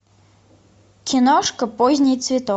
киношка поздний цветок